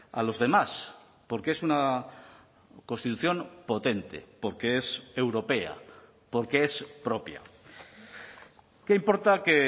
a los demás porque es una constitución potente porque es europea porque es propia qué importa que